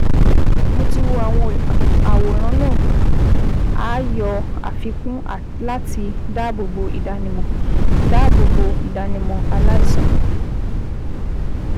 Mo ti wo àwọn àwòrán náà (a yọ àfikún láti dáàbò bo ìdánimọ dáàbò bo ìdánimọ aláìsàn)